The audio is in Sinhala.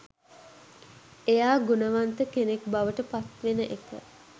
එයා ගුණවන්ත කෙනෙක් බවට පත්වෙන එක.